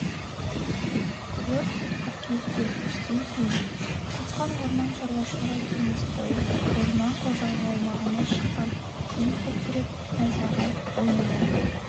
өрт қыркүйекте түстен кейін құзған орман шаруашылығы кенесское орман қожалығы аумағында шыққан күн күркіреп найзағай ойнауы